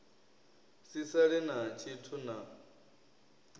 si sale na tshithu na